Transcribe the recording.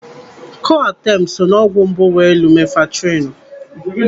Coartem so n'ọgwụ mbụ nwere lumenfantrinu.